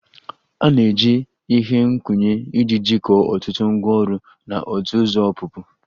A ga-eji ihe nkwụnye iji jikọọ ọtụtụ ngwaọrụ na otu ụzọ ọpụpụ